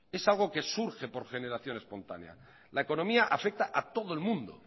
es algo que surge por generación espontánea la economía afecta a todo el mundo